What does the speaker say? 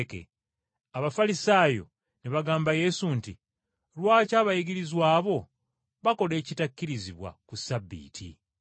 Abafalisaayo ne bagamba Yesu nti, “Lwaki abayigirizwa bo bakola ekitakkirizibwa ku Ssabbiiti.”